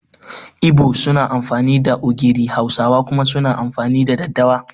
Ibo's suna amfani da ogiri Hausawa kuma suna amfani da daddawa